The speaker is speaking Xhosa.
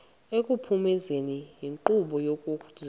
ekuphumezeni inkqubo yezococeko